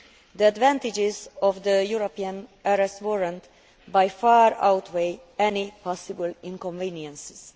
The advantages of the European Arrest Warrant by far outweigh any possible inconveniences.